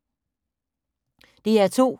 DR2